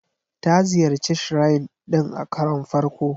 Ta ziyarci Shrine din a karon farko.